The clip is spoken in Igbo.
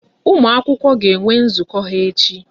Ụmụ akwụkwọ ga enwe nzukọ ha echi